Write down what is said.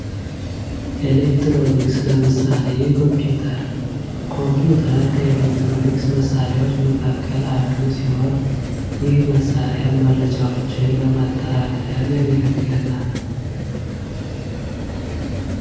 ኤሌክትሮኒክስ ለምሳሌ ኮምፒውተር፤ ኮምፒዩተር ኤሌክትሮኒክስ መሳሪያዎች መካከል አንዱ ሲሆን ይህ መሣሪያ መረጃዎችን ለማጠራቀም ያገለግለናል።